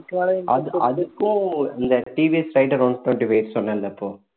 அது அதுக்கும் இந்த TVS one twenty-five சொன்னேன்ல இப்போ